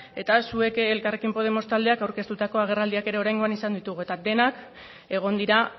eta zuek elkarrekin podemos taldeak aurkeztutako agerraldiak ere oraingoan izan ditugu eta denak egon dira